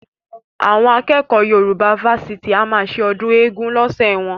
Àwọn akẹ́kọ̀ọ́ Yorùbá fásitì a máa ṣe ọdún eégún lọ́sẹ̀ wọn